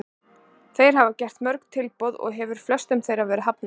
Þeir hafa gert mörg tilboð og hefur flestum þeirra verið hafnað.